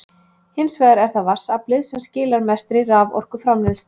Hins vegar er það vatnsaflið sem skilar mestri raforkuframleiðslu.